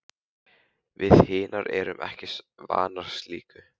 Við hinar erum ekki vanar slíku.